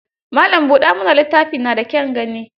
Malan buɗa mana littafi na da kyan gani.